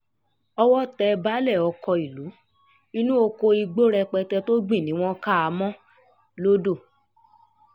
owó tẹ baálé ọkọ̀ ìlú inú ọkọ̀ igbó rẹpẹtẹ tó gbìn ni wọ́n ká a mọ́ lodò